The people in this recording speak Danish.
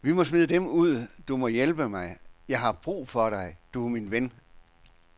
Vi må smide dem ud, du må hjælpe mig, jeg har brug for dig, du er min ven.